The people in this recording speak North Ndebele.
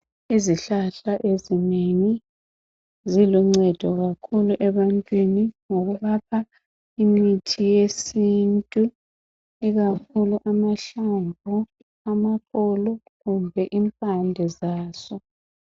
Izihlahla ezinengi ziluncedo kakhulu ebantwini ngoba imithi yesintu ikakhulu amahlamvu, amaxolo kumbe impande zazo.